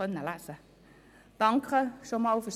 Das konnten Sie bereits lesen.